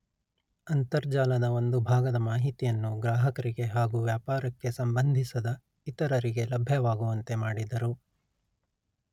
ಅಂತರ್ಜಾಲದ ಒಂದು ಭಾಗದ ಮಾಹಿತಿಯನ್ನು ಗ್ರಾಹಕರಿಗೆ ಹಾಗು ವ್ಯಾಪಾರಕ್ಕೆ ಸಂಬಂಧಿಸದ ಇತರರಿಗೆ ಲಭ್ಯವಾಗುವಂತೆ ಮಾಡಿದರು